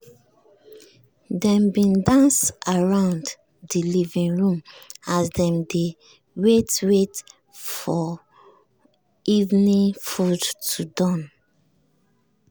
dem bin dance around de living room as dem dey wait wait for evening food to done.